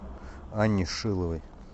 анне шиловой